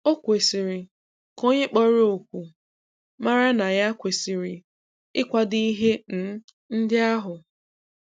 o kwesịrị ka onye kpọrọ oku mara na ya kwesiri ikwado ihe um ndị ahụ.